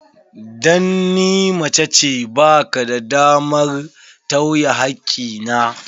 Dan ni macece, ba ka da damar tawye hakki na.